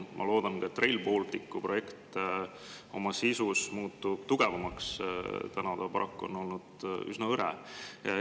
Ma loodan, et ka Rail Balticu projekt oma sisus muutub tugevamaks, siiamaani on see paraku olnud üsna.